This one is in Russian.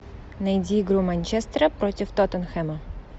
найди игру манчестера против тоттенхэма